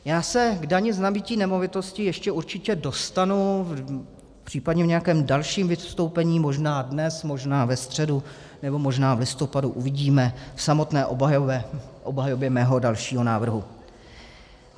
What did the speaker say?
Já se k dani z nabytí nemovitosti ještě určitě dostanu případně v nějakém dalším vystoupení, možná dnes, možná ve středu, nebo možná v listopadu, uvidíme, v samotné obhajobě mého dalšího návrhu.